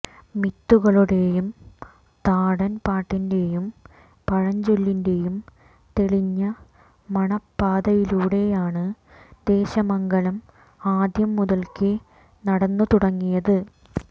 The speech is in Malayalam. മിത്തുകളുടെയും താടൻപാട്ടിന്റെയും പഴഞ്ചൊല്ലിന്റെയും തെളിഞ്ഞ മണപാതയിലൂടെയാണ് ദേശമംഗലം ആദ്യം മുതൽക്കേ നടന്നുതുടങ്ങിയത്